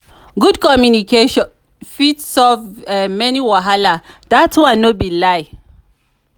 good communication fit solve many wahala; dat one no be lie.